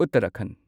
Uttarakhand